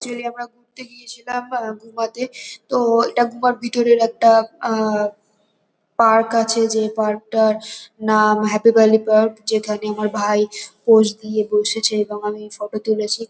Actually আমরা ঘুরতে গিয়ে ছিলাম আহ গুমা-তে তো এটা গুমা-র ভিতরের একটা আহ হ পার্ক আছে । যে পার্ক -টার নাম হ্যাপি ভ্যালি পার্ক যেখানে আমার ভাই পোজ দিয়ে বসেছে এবং আমি ফটো তুলেছি।